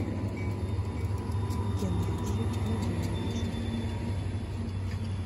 геннадию андреевичу